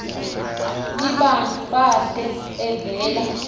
libantu bahle evela